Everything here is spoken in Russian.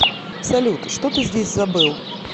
салют что ты здесь забыл